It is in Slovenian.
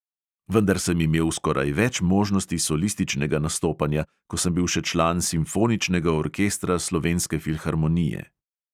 Vendar sem imel skoraj več možnosti solističnega nastopanja, ko sem bil še član simfoničnega orkestra slovenske filharmonije.